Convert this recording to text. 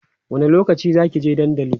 wani lokaci Zaki je dandali?